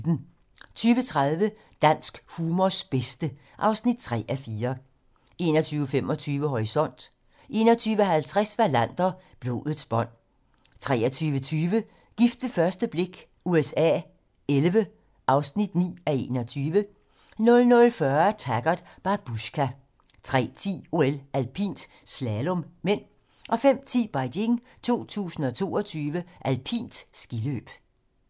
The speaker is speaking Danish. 20:30: Dansk humors bedste (3:4) 21:25: Horisont 21:50: Wallander: Blodets bånd 23:20: Gift ved første blik USA XI (9:21) 00:40: Taggart: Babushka 03:10: OL: Alpint - slalom (m) 05:10: Beijing 2022: Alpint skiløb